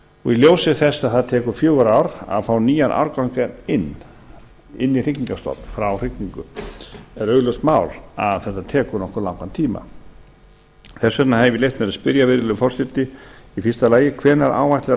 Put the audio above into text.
ljósi þess að það tekur fjögur ár að fá nýjan árgang inn í hrygningarstofn frá hrygningu er augljóst mál að þetta tekur nokkuð langan tíma þess vegna hef ég leyft mér að spyrja virðulegur forseti fyrstu hvenær áætlar